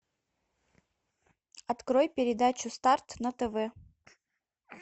открой передачу старт на тв